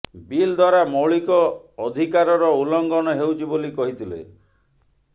bill ଦ୍ୱାରା ମୌଳିକ ଅଧିକାରର ଉଲଂଘନ ହେଉଛି ବୋଲି କହିଥିଲେ